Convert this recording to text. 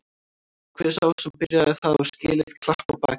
Hver sá sem byrjaði það á skilið klapp á bakið.